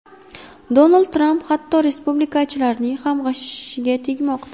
Donald Tramp hatto respublikachilarning ham g‘ashiga tegmoqda.